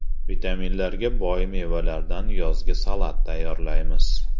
Vitaminlarga boy mevalardan yozgi salat tayyorlaymiz.